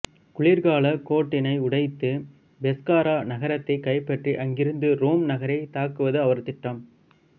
குளிர்காலக் கோட்டினை உடைத்து பெஸ்காரா நகரத்தைக் கைப்பற்றி அங்கிருந்து ரோம் நகரைத் தாக்குவது அவரது திட்டம்